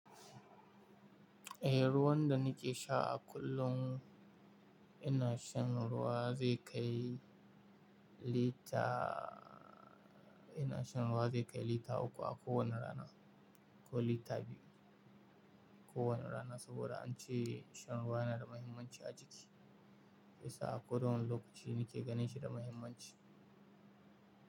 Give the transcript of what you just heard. Eh, ruwan da ni ke sha a kullum ina shan ruwa zai kai lita, ina shan ruwa zai kai lita uku a kowane rana ko lita biyu kowane rana. Saboda an ce shan ruwa yana da mahimmanci a jiki. Bisa a koɗawane lokaci ni ke ganin shi da mahimmanci.